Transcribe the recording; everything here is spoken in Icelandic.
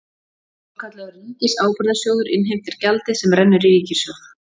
Svokallaður ríkisábyrgðasjóður innheimtir gjaldið sem rennur í ríkissjóð.